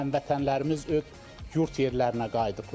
Yəni həmvətənlərimiz öz yurd yerlərinə qayıdıblar.